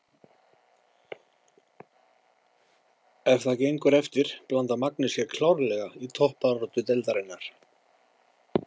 Ef það gengur eftir blandar Magni sér klárlega í toppbaráttu deildarinnar!